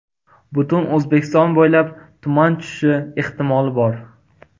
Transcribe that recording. Butun O‘zbekiston bo‘ylab tuman tushishi ehtimoli bor.